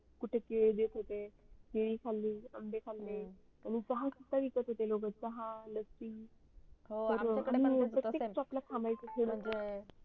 कुठ तिड देत होते तिड खाल्ली आंबे खाल्ले आणि चला सुद्धा विकत होते लोक चहा लस्सी